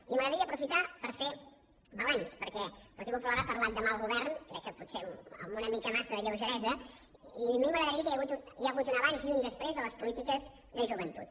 i m’agradaria aprofitar per fer balanç perquè el partit popular ha parlat de mal govern crec que potser amb una mica massa de lleugeresa i a mi m’agradaria dir que hi ha hagut un abans i un després de les polítiques de joventut